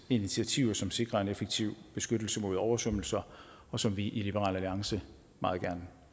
initiativer som sikrer en effektiv beskyttelse mod oversvømmelser og som vi i liberal alliance meget gerne